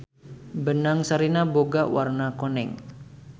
Benang sarina boga warna koneng.